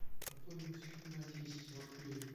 пополни мой телефон на десять рублей